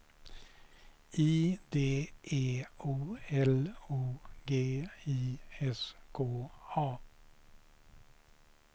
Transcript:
I D E O L O G I S K A